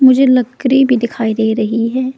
मुझे लकड़ी भी दिखाई दे रही है।